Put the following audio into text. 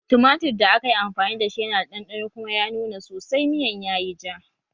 Tumatir da aka yi amfani da shi yana da ɗanɗano kuma ya nuna sosai miyan yayi ja